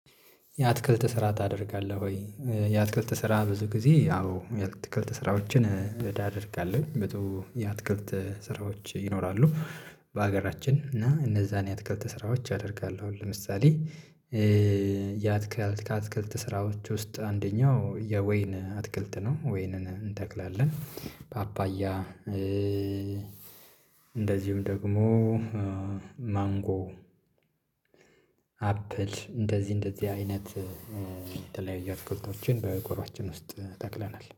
የአትክልት ስራ ታደርጋለህ ወ? የአትክልት ስራ ብዙ ጊዜ አዎ የአትክልት ስራዎችን እዳ አደርጋለሁኝ በጣም የአትክልት ስራዎች ይኖራሉ በሀገራችን እና እነዛን የአትክልት ስራዎች አደርጋለሁ ለምሳሌ የአትክልት ከአትክልት ስራዎች ውስጥ አንደኛው የወይን አትክልት ነው ወይንን እንተክላለን፤ ፓፓያ እንደዚሁም ደግሞ ማንጎ፣ አፕል እንደዚህ እንደዚህ አይነት የተለያዩ አትክልቶችን በጓሮአችን ውስጥ ተክለናል።